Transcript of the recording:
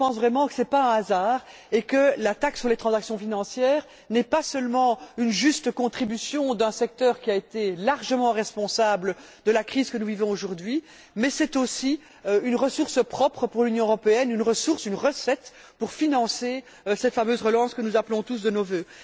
Je pense réellement que ce n'est pas un hasard et que la taxe sur les transactions financières n'est pas seulement une juste contribution d'un secteur qui a été largement responsable de la crise que nous vivons aujourd'hui, mais, aussi, une ressource propre pour l'Union européenne, une ressource, une recette pour financer cette fameuse relance que nous appelons tous de nos vœux.